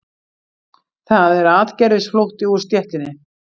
Það er atgervisflótti úr stéttinni